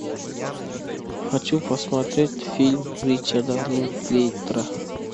хочу посмотреть фильм ричарда линклейтера